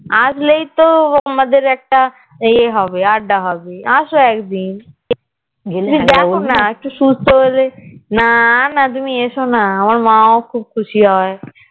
আসলেই তো আমাদের একটা আড্ডা হবে আসো একদিন তুমি আসোনা একটু সুস্থ হলে নানা তুমি এসোনা আমার মা ও খুব খুশি হয়